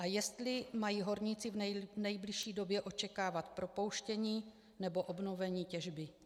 A jestli mají horníci v nejbližší době očekávat propouštění nebo obnovení těžby.